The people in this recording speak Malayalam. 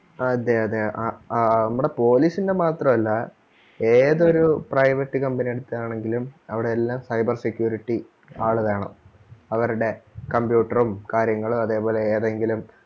അതേ അതെ ആ ആ നമ്മടെ police ന്റെ മാത്രം അല്ല ഏതൊരു private company എടുക്കുകയാണെങ്കിലും അവിടെയെല്ലാം cyber security ആള് വേണം അവരുടെ computer ഉം കാര്യങ്ങളും അതേ പോലെ ഏതെങ്കിലും